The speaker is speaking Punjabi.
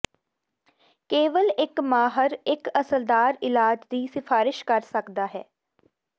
ਕੇਵਲ ਇੱਕ ਮਾਹਰ ਇੱਕ ਅਸਰਦਾਰ ਇਲਾਜ ਦੀ ਸਿਫਾਰਸ਼ ਕਰ ਸਕਦਾ ਹੈ